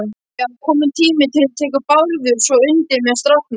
Já, kominn tími til, tekur Bárður svo undir með stráknum.